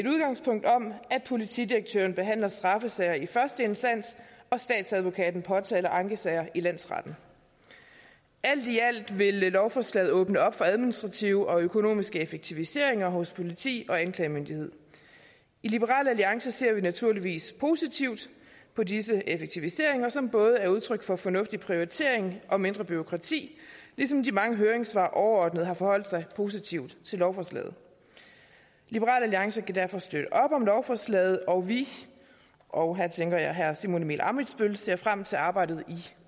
politidirektøren behandler straffesager i første instans og statsadvokaten påtaler ankesager i landsretten alt i alt vil lovforslaget åbne op for administrative og økonomiske effektiviseringer hos politi og anklagemyndighed i liberal alliance ser vi naturligvis positivt på disse effektiviseringer som både er udtryk for fornuftig prioritering og mindre bureaukrati ligesom de mange høringssvar overordnet har forholdt sig positivt til lovforslaget liberal alliance kan derfor støtte op om lovforslaget og vi og her tænker jeg på herre simon emil ammitzbøll ser frem til arbejdet i